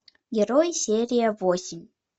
герой серия восемь